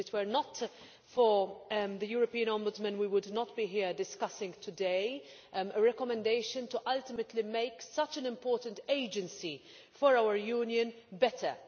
If it were not for the European Ombudsman, we would not be here today discussing a recommendation to ultimately make such an important agency for our Union better.